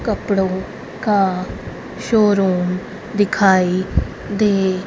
कपड़ों का शोरूम दिखाई दे--